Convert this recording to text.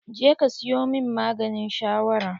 Je ka siyo min maganin shawara!